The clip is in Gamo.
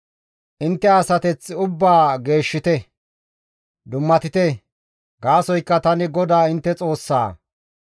« ‹Intte asateth ubbaa geeshshite; dummatite; gaasoykka tani GODAA intte Xoossaa.